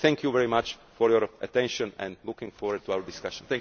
Thank you very much for your attention and am looking forward to our discussions.